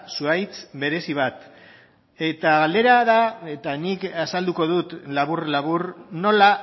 zuhaitz berezi bat eta galdera da eta nik azalduko dut labur labur nola